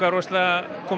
að koma